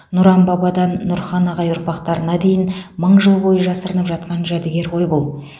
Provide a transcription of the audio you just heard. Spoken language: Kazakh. нұран бабадан нұрхан ағай ұрпақтарына дейін мың жыл бойы жасырынып жатқан жәдігер ғой бұл